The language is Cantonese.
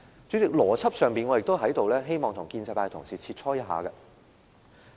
主席，邏輯上，我也希望跟建制派同事切磋一下。